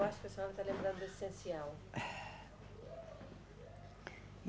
Eu acho que a senhora está lembrando do essencial.